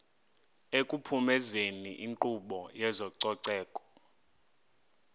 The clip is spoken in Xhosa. ekuphumezeni inkqubo yezococeko